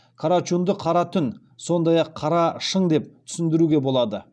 карачунді қара түн сондай ақ қара шың деп түсіндіруге болады